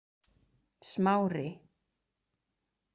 Smári